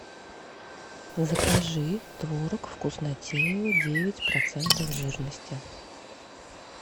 закажи творог вкуснотеево девять процентов жирности